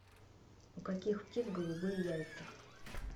у каких птиц голубые яйца